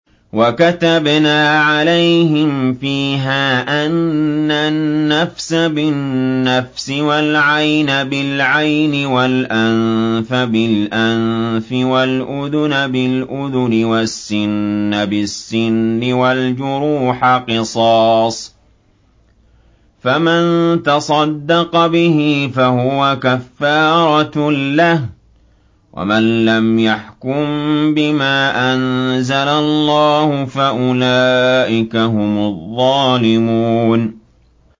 وَكَتَبْنَا عَلَيْهِمْ فِيهَا أَنَّ النَّفْسَ بِالنَّفْسِ وَالْعَيْنَ بِالْعَيْنِ وَالْأَنفَ بِالْأَنفِ وَالْأُذُنَ بِالْأُذُنِ وَالسِّنَّ بِالسِّنِّ وَالْجُرُوحَ قِصَاصٌ ۚ فَمَن تَصَدَّقَ بِهِ فَهُوَ كَفَّارَةٌ لَّهُ ۚ وَمَن لَّمْ يَحْكُم بِمَا أَنزَلَ اللَّهُ فَأُولَٰئِكَ هُمُ الظَّالِمُونَ